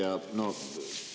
Hea ettekandja!